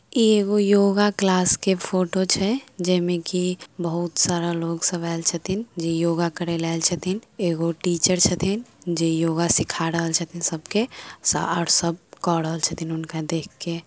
ई yoga class के photo छै। जेमे की बहुत सारा लोग सब ऐल छथिन जे योगा करे ले ऐल छथीन । एगो टीचर छथीन जे योगा सीखा रहल छथीन । सबके और सब क रहल छथिन हुनका देख के ।